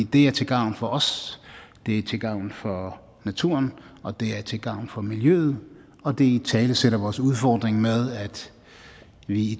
det er til gavn for os det er til gavn for naturen og det er til gavn for miljøet og det italesætter vores udfordring med at vi i